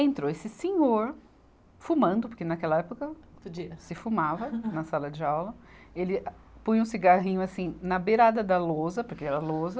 Entrou esse senhor, fumando, porque naquela época. Podia. Se fumava na sala de aula, ele põe um cigarrinho assim na beirada da lousa, porque era lousa,